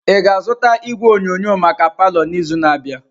Ị ga-azụta igwe onyonyo maka palọ n'izu na-abịa?